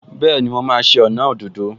Bẹ́ẹ̀ni, mo máa ṣe ọnà òdòdó